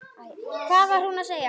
Hvað var hún að segja?